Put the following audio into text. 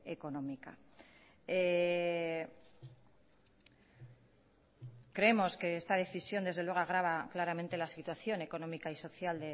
económica creemos que esta decisión desde luego agrava claramente la situación económica y social